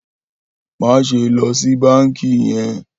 Maṣe lọ si banki yẹn!